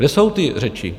Kde jsou ty řeči?